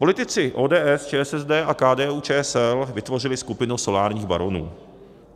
Politici ODS, ČSSD a KDU-ČSL vytvořili skupinu solárních baronů.